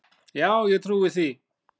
Já, ég trúi því.